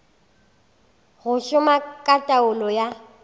go šoma ka taolo ya